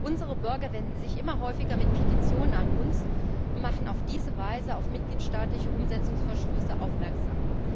Unsere Bürger wenden sich immer häufiger mit Petitionen an uns und machen auf diese Weise auf mitgliedstaatliche Umsetzungsverstöße aufmerksam.